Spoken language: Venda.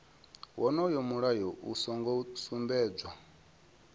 wonoyo mulayo u songo sumbedzwa